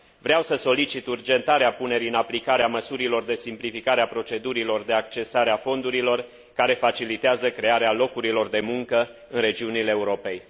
Vreau să solicit urgentarea punerii în aplicare a măsurilor de simplificare a procedurilor de accesare a fondurilor care facilitează crearea locurilor de muncă în regiunile Europei.